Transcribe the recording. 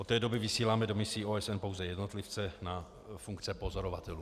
Od té doby vysíláme do misí OSN pouze jednotlivce na funkce pozorovatelů.